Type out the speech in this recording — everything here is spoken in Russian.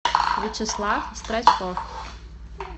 вячеслав страчков